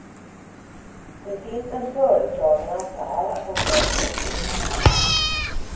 Det finns en föreslagen affär att ta ställning till.